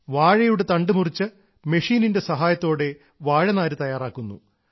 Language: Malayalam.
വാഴയുടെ തണ്ട് മുറിച്ച് മെഷീനിന്റെ സഹായത്തോടെ വാഴനാര് തയ്യാറാക്കുന്നു